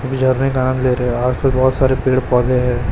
झरने का आनंद ले रहे आस पास बहोत सारे पेड़ पौधे है।